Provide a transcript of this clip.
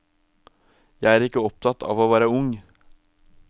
Jeg er ikke opptatt av å være ung.